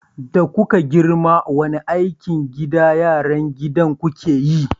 Da kuke girma wani aikin gida yaran gidan ku ke yi?